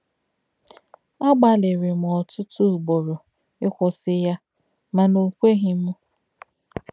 Agbalịrị m ọtụtụ ugboro ịkwụsị ya mana o kweghi m. ”